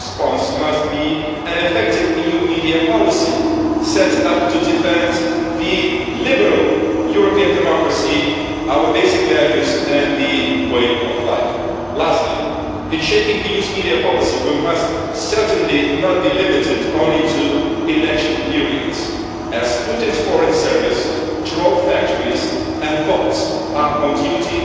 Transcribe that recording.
Our response must be an effective EU media policy set up to defend our liberal European democracy, basic values and way of life. Lastly, in shaping the EU's media policy, we must certainly not be limited only to election periods as Putin's foreign services, troll factories and bots are on duty